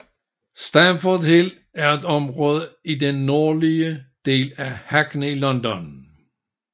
Stamford Hill er et område i den nordlige del af Hackney i London